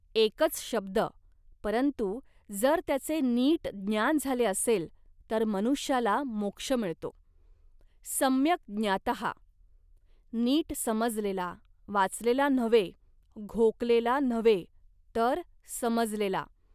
एकच शब्द, परंतु जर त्याचे नीट ज्ञान झाले असेल, तर मनुष्याला मोक्ष मिळतो. सम्यक् ज्ञातः" नीट समजलेला, वाचलेला नव्हे, घोकलेला नव्हे, तर समजलेला